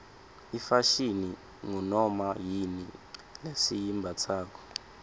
ifashini ngunoma yini lesiyimbatsako